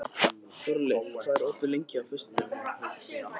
Þórleif, hvað er opið lengi á föstudaginn?